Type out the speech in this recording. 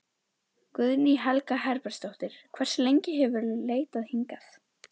Guðný Helga Herbertsdóttir: Hversu lengi hefurðu leitað hingað?